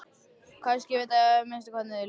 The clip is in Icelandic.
Kannski veit ég minnst hvað þér líður.